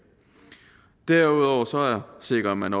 derudover sikrer man